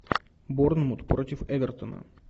борнмут против эвертона